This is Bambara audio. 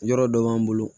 Yɔrɔ dɔ b'an bolo